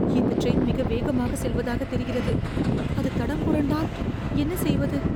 இந்த டிரெய்ன் மிக வேகமாகச் செல்வதாகத் தெரிகிறது. அது தடம்புரண்டால் என்ன செய்வது?